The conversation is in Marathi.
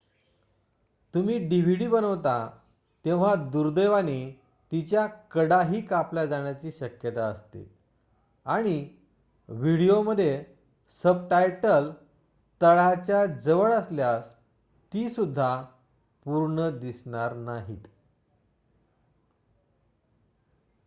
तुम्ही dvd बनवता तेव्हा दुर्दैवाने तिच्या कडाही कापल्या जाण्याची शक्यता असते आणि व्हिडीओमध्ये सबटायटल तळाच्या जवळ असल्यास ती सुद्धा पूर्ण दिसणार नाहीत